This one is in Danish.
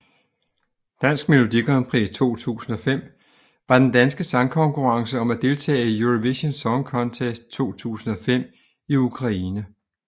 Dansk Melodi Grand Prix 2005 var den danske sangkonkurrence om at deltage i Eurovision Song Contest 2005 i Ukraine